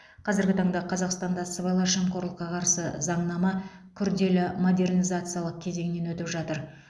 қазіргі таңда қазақстанда сыбайлас жемқорлыққа қарсы заңнама күрделі модернизациялық кезеңнен өтіп жатыр